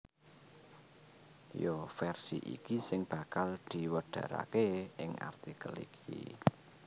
Ya versi iki sing bakal diwedharaké ing artikel iki